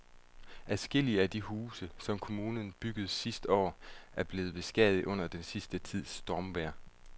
Adskillige af de huse, som kommunen byggede sidste år, er blevet beskadiget under den sidste tids stormvejr.